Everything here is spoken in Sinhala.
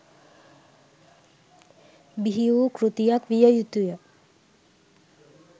බිහි වූ කෘතියක් විය යුතු ය.